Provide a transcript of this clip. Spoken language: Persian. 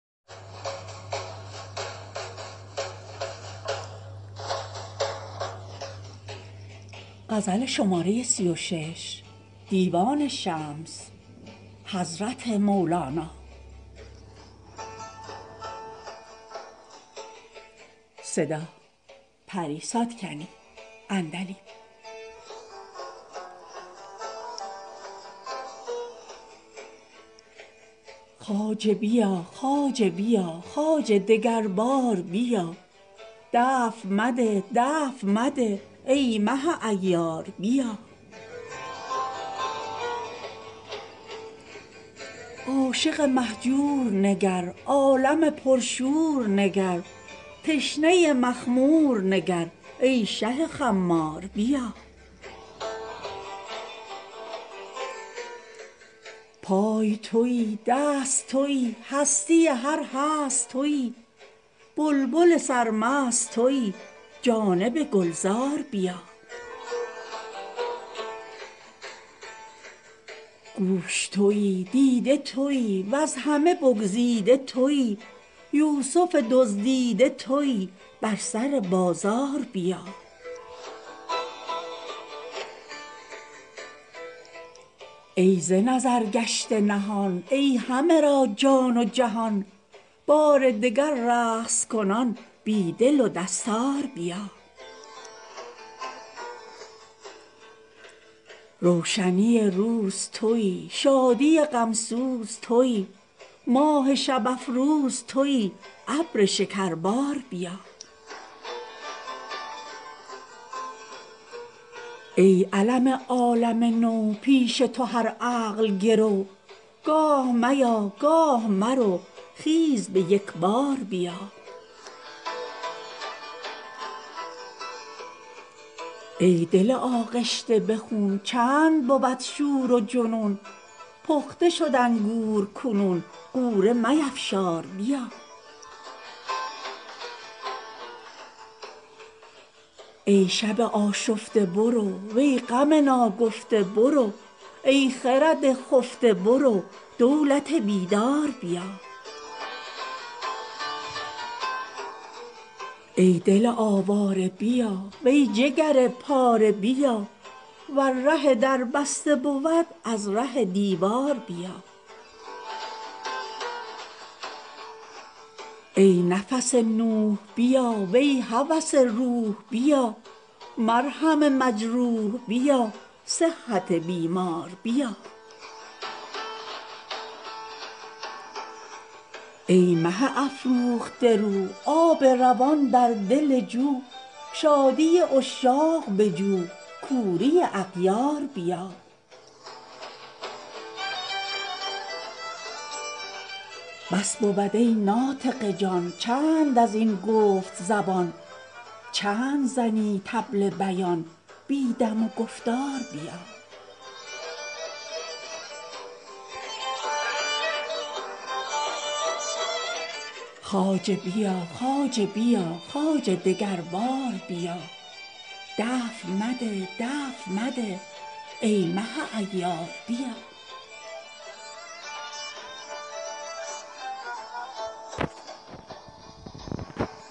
خواجه بیا خواجه بیا خواجه دگر بار بیا دفع مده دفع مده ای مه عیار بیا عاشق مهجور نگر عالم پرشور نگر تشنه مخمور نگر ای شه خمار بیا پای توی دست توی هستی هر هست توی بلبل سرمست توی جانب گلزار بیا گوش توی دیده توی وز همه بگزیده توی یوسف دزدیده توی بر سر بازار بیا ای ز نظر گشته نهان ای همه را جان و جهان بار دگر رقص کنان بی دل و دستار بیا روشنی روز توی شادی غم سوز توی ماه شب افروز توی ابر شکربار بیا ای علم عالم نو پیش تو هر عقل گرو گاه میا گاه مرو خیز به یک بار بیا ای دل آغشته به خون چند بود شور و جنون پخته شد انگور کنون غوره میفشار بیا ای شب آشفته برو وی غم ناگفته برو ای خرد خفته برو دولت بیدار بیا ای دل آواره بیا وی جگر پاره بیا ور ره در بسته بود از ره دیوار بیا ای نفس نوح بیا وی هوس روح بیا مرهم مجروح بیا صحت بیمار بیا ای مه افروخته رو آب روان در دل جو شادی عشاق بجو کوری اغیار بیا بس بود ای ناطق جان چند از این گفت زبان چند زنی طبل بیان بی دم و گفتار بیا